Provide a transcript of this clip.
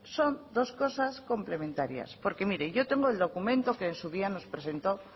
son dos cosas complementarias porque mire yo tengo el documento que en su día nos presentó